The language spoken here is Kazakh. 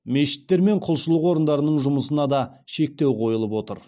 мешіттер мен құлшылық орындарының жұмысына да шектеу қойылып отыр